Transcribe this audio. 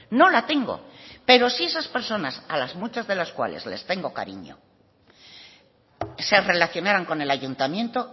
no la tengo pero si esas personas a las muchas de las cuales les tengo cariño se relacionaran con el ayuntamiento